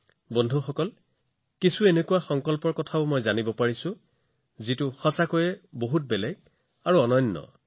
বন্ধুসকল কিন্তু শেহতীয়াকৈ মই এটা সংকল্পৰ বিষয়ে জানিছিলোঁ যিটো সঁচাকৈয়ে পৃথক অতি অনন্য আছিল